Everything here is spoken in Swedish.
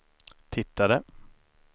tittade